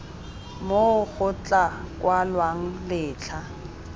moo go tla kwalwang letlha